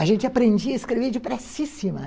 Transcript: A gente aprendia a escrever depressíssima.